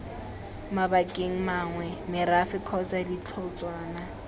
mabakeng mangwe merafe kgotsa ditlhotshwana